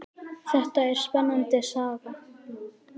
Þetta er spennandi saga.